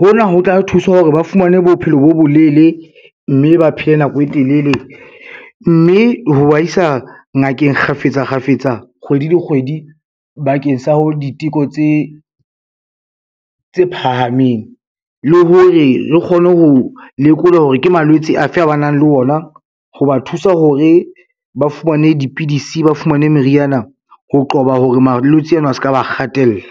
Hona ho tla thusa hore ba fumane bophelo bo bolele, mme ba phele nako e telele mme ho ba isa ngakeng kgafetsa kgafetsa, kgwedi le kgwedi bakeng sa diteko tse phahameng, le hore re kgone ho lekola hore ke malwetse afe a ba nang le ona, ho ba thusa hore ba fumane dipidisi, ba fumane meriana, ho qoba hore malwetse ano a ska ba kgatella.